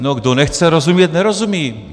No, kdo nechce rozumět, nerozumí.